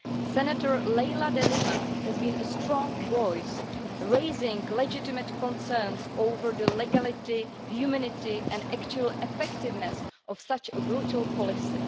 Senator Leila De Lima has been a strong voice, raising legitimate concerns over the legality, humanity and actual effectiveness of such a brutal policy.